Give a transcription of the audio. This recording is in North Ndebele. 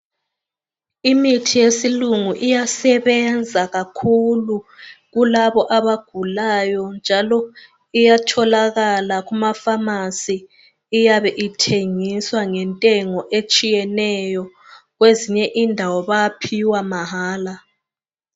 Imithi yesilungu iyasebenza kakhulu kulabo abagulayo njalo iyatholakala kumafamasi, iyabe ithengiswa ngentengo etshiyeneyo kwezinye indawo bayaphiwa mahala.